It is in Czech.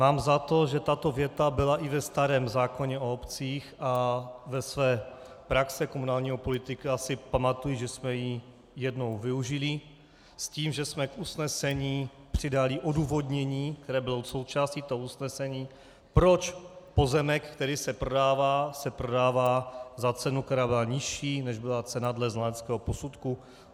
Mám za to, že tato věta byla i ve starém zákoně o obcích, a ze své praxe komunálního politika si pamatuji, že jsme ji jednou využili s tím, že jsme k usnesení přidali odůvodnění, které bylo součástí toho usnesení, proč pozemek, který se prodává, se prodává za cenu, která byla nižší, než byla cena dle znaleckého posudku.